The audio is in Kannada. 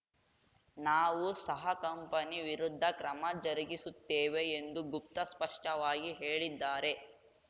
ನಾವು ಸಹ ಕಂಪನಿ ವಿರುದ್ಧ ಕ್ರಮ ಜರುಗಿಸುತ್ತೇವೆ ಎಂದು ಗುಪ್ತ ಸ್ಪಷ್ಟವಾಗಿ ಹೇಳಿದ್ದಾರೆ